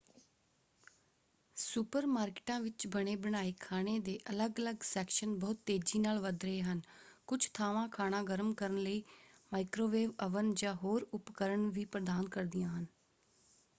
Super ਮਾਰਕਿਟਾਂ ਵਿੱਚ ਬਣੇ-ਬਣਾਏ ਖਾਣੇ ਦੇ ਅੱਲਗ ਅਲੱਗ ਸੈਕਸ਼ਨ ਬਹੁਤ ਤੇਜ਼ੀ ਨਾਲ ਵੱਧ ਰਹੇ ਹਨ। ਕੁਝ ਥਾਵਾਂ ਖਾਣਾ ਗਰਮ ਕਰਨ ਲਈ ਮਾਈਕਰੋਵੇਵ ਅਵਨ ਜਾਂ ਹੋਰ ਉਪਕਰਣ ਵੀ ਪ੍ਰਦਾਨ ਕਰਦੀਆਂ ਹਨ।